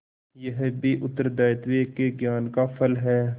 यह भी उत्तरदायित्व के ज्ञान का फल है